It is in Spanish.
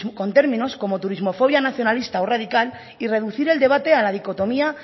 con términos como turismofobia nacionalista o radical y reducir el debate a la dicotomía